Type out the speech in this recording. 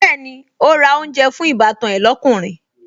Bẹ́ẹ̀ni, ó ra oúnjẹ fún ìbátan ẹ lókùnrin